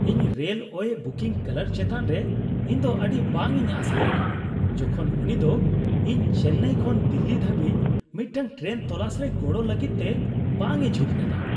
ᱤᱧ railway booking clerk ᱪᱮᱛᱟᱱ ᱨᱮ ᱤᱧ ᱫᱚ ᱟᱹᱰᱤ ᱵᱟᱝ ᱤᱧ ᱟᱥᱟᱣ ᱞᱮᱱᱟ, ᱡᱚᱠᱷᱚᱱ ᱩᱱᱤ ᱫᱚ ᱤᱧ ᱪᱮᱱᱱᱟᱭ ᱠᱷᱚᱱ ᱫᱤᱞᱞᱤ ᱫᱷᱟᱹᱵᱤᱡ ᱢᱤᱫᱴᱟᱝ ᱴᱮᱨᱮᱱ ᱛᱚᱞᱟᱥ ᱨᱮ ᱜᱚᱲᱚ ᱞᱟᱹᱜᱤᱫ ᱛᱮ ᱵᱟᱝ ᱮ ᱡᱷᱩᱸᱠ ᱞᱮᱫᱟ ᱾